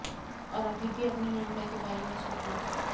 और अभी भी अपने निर्णय के बारे में सोचो